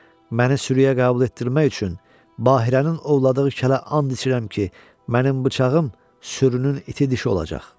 Məni sürüə qəbul etdirmək üçün Bahiranın ovladığı kələ and içirəm ki, mənim bıçağım sürünün iti dişi olacaq.